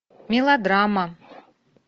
мелодрама